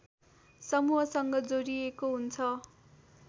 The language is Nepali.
समूहसँग जोडिएको हुन्छ